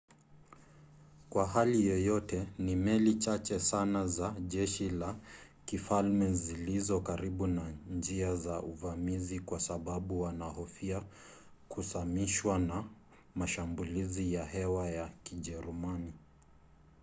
kwa hali yoyote ni meli chache sana za jeshi la kifalme zilizo karibu na njia za uvamizi kwa sababu wanahofia kusamishwa na mashambulizi ya hewa ya kijerumani